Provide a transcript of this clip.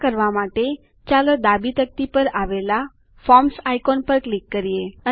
આ કરવા માટે ચાલો ડાબી તકતી પર આવેલા ફોર્મ્સ આઇકોન પર ક્લિક કરીએ